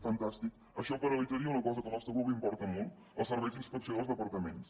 fantàstic això paralitzaria una cosa que al nostre grup li importa molt els serveis d’inspecció dels departaments